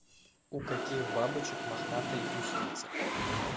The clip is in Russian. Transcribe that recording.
у каких бабочек мохнатые гусеницы